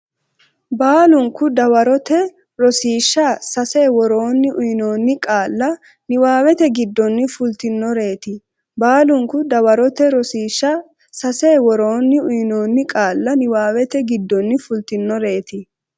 Baalunku dawarote Rosiishsha Sase Woroonni uyinoonni qaalla niwaawete giddonni fultinoreeti Baalunku dawarote Rosiishsha Sase Woroonni uyinoonni qaalla niwaawete giddonni fultinoreeti.